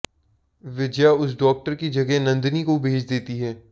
विजया उस डॉक्टर के जगह नंदिनी को भेज देती है